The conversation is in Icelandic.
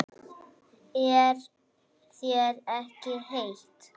Er þér ekki heitt?